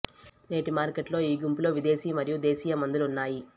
నేటి మార్కెట్ లో ఈ గుంపులో విదేశీ మరియు దేశీయ మందులు ఉన్నాయి